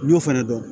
N y'o fɛnɛ dɔn